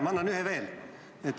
Ma annan ühe juurde.